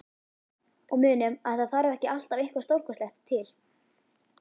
Og munum að það þarf ekki alltaf eitthvað stórkostlegt til.